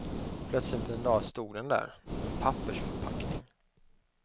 Plötsligt en dag stod den där, en pappersförpackning.